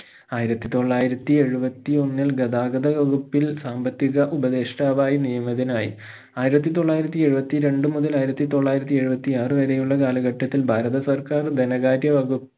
ആയിരത്തി തൊള്ളായിരത്തി എഴുപത്തി ഒന്നിൽ ഗതാഗത വകുപ്പിൽ സാമ്പത്തിക ഉപദേഷ്ട്ടാവായി നിയമിതനായി ആയിരത്തി തൊള്ളായിരത്തി എഴുപത്തി രണ്ടു മുതൽ ആയിരത്തി തൊള്ളായിരത്തി എഴുപത്തി ആറ് വരെയുള്ള കാലഘട്ടത്തിൽ ഭാരത സർക്കാർ ധനകാര്യ വകുപ്പ്